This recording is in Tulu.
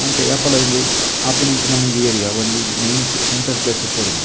ಅಂಚ ಯಾಪಲ ಇಂದು ಆಪಿನಂಚಿನ ಒಂಜಿ ಏರಿಯ ಒಂಜಿ ಮೈನ್ ಸೆಂಟರ್ ಪ್ಲೇಸ್ ಇಪ್ಪೊಡು ಉಂದು.